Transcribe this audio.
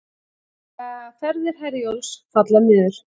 Ferðir Herjólfs falla niður